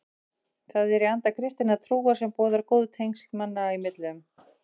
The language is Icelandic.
Það er í anda kristinnar trúar sem boðar góð tengsl manna í millum.